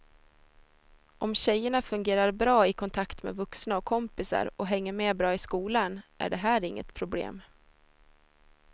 Om tjejerna fungerar bra i kontakt med vuxna och kompisar och hänger med bra i skolan är det här inget problem.